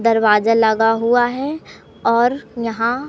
दरवाजा लगा हुआ है और यहां--